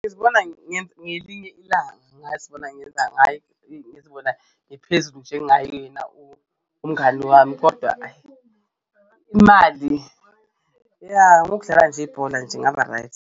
Ngizibona ngelinye ilanga ngazibona ngizibona ngiphezulu njengaye yena umngani wami kodwa ayi imali ya, ngokudlala nje ibhola nje ngaba-right.